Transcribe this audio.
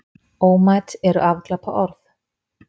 Ómæt eru afglapaorð.